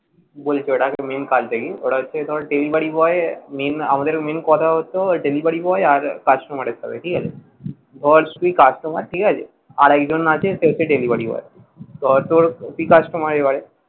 বলি তোকে ওটার main কাজটা কি delivery boy এ ধর main আমাদের main কথা হত Delivary boy আর customer এর সাথে ঠিক আছে ধর তুই customer ঠিক আছে আর এক জন আছে সে হচ্ছে delivery boy ধর তোর হয়